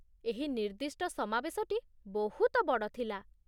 ଏହି ନିର୍ଦ୍ଦିଷ୍ଟ ସମାବେଶଟି ବହୁତ ବଡ଼ ଥିଲା।